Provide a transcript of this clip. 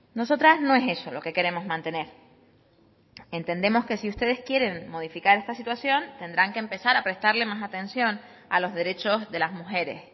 nosotras no es eso lo que queremos mantener entendemos que si ustedes quieren modificar esta situación tendrán que empezar a prestarle más atención a los derechos de las mujeres